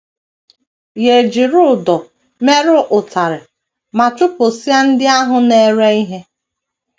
Ya ejiri ụdọ mere ụtarị ma chụpụsịa ndị ahụ na - ere ihe.